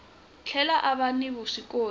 tlhela a va ni vuswikoti